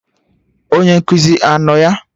Onye nkụzi anọ ya?